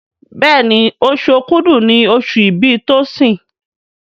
Béèni Oṣù Òkúdu ní oṣù ibì Tosin.